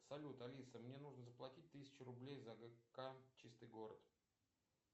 салют алиса мне нужно заплатить тысячу рублей за гк чистый город